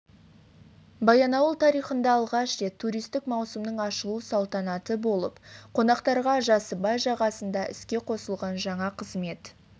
баянауыл тарихында алғаш рет туристік маусымның ашылу салтанаты болып қонақтарға жасыбай жағасында іске қосылған жаңа қызмет